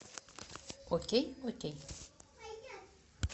окей окей